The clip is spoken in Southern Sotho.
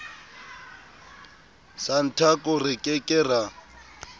santaco re ke ke ra